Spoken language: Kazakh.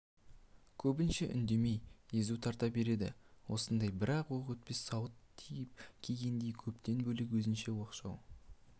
көбінше үндемей езу тарта береді осындай бір оқ өтпес сауыт тауып кигендей көптен бөлек өзінше оқшау